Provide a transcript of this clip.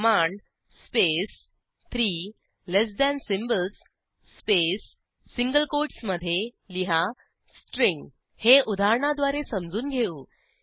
command space three less than symbols space single कोटसमधे लिहा string हे उदाहरणाद्वारे समजून घेऊ